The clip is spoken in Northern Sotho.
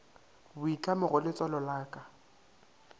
boitlamo go letswalo la ka